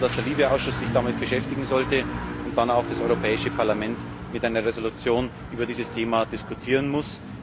Wir glauben, dass der LIBE Ausschuss sich damit beschäftigen sollte und dann auch das Europäische Parlament mit einer Entschließung über dieses Thema diskutieren muss.